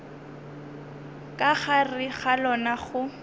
ka gare ga lona go